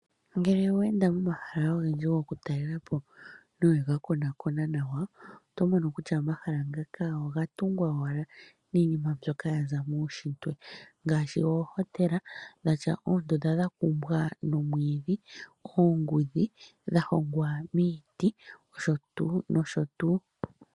Ngele owe enda pomahala ogendji gokutalela po nowe ga konakona nawa, oto mono kutya omahala ngaka oga tungwa owala niinima mbyoka ya za muunshitwe ngaashi oohotela dhatya oondunda dha kumbwa nomwiidhi, oongudhi dha hongwa miiti osho tuu, osho tuu.